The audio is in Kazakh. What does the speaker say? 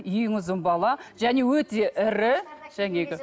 ең ұзын бала және өте ірі жаңағы